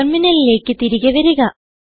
ടെർമിനലിലേക്ക് തിരികെ വരിക